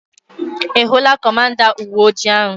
Ị hụula kọmanda uweojii ahu?